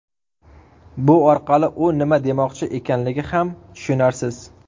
Bu orqali u nima demoqchi ekanligi ham tushunarsiz.